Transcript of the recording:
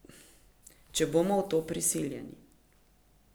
Če bomo v to prisiljeni.